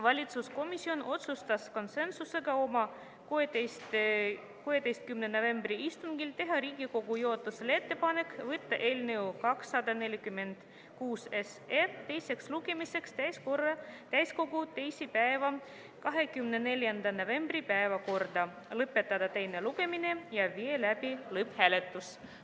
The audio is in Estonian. Väliskomisjon otsustas konsensusega oma 16. novembri istungil teha Riigikogu juhatusele ettepanek võtta eelnõu 246 teiseks lugemiseks täiskogu 24. novembri istungi päevakorda, lõpetada teine lugemine ja viia läbi lõpphääletus.